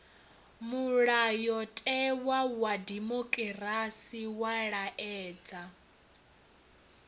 mulayotewa wa dimokirasi wa laedza